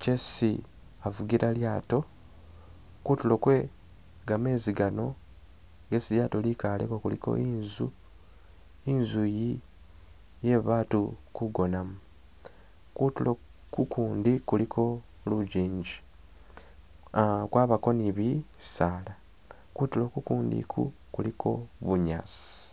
kyesi avugila lyato, kutulo kwe gamezi gano gesi lyato likaleko kuliko inzu, inzu iyi iyebatu kugonamo, kutulo kukundi kuliko lujinji ah- kwabako ni bisaala, kutulo kukundi iku kwabako bunyaasi.